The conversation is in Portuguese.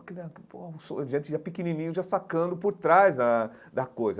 A gente já pequenininho, já sacando por trás da da coisa.